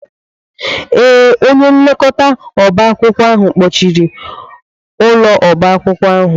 Ee, onye nlekọta oba akwụkwọ ahụ kpọchiri ụlọ oba akwụkwọ ahụ.